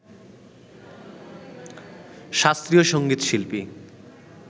শাস্ত্রীয় সঙ্গীত শিল্পী